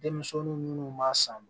Denmisɛnnin munnu b'a san